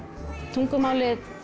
tungumálið